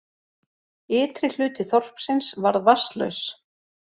Ytri hluti þorpsins varð vatnslaus